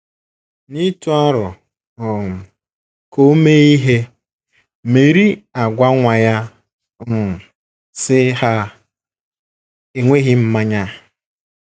N’ịtụ aro um ka o mee ihe, Meri agwa nwa ya um, sị: “ Ha enweghị mmanya. ”